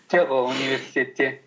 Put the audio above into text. жоқ ол университетте